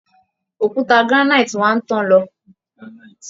Òkúta granite wa ń tán lọ